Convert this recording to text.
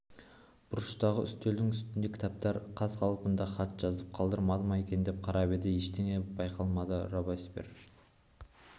бұрыштағы үстелдің үстінде кітаптар қаз-қалпында хат жазып қалдырмады ма екен деп қарап еді ештеңе байқалмады робеспьер